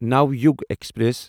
Navyug express